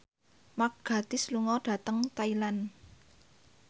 Mark Gatiss lunga dhateng Thailand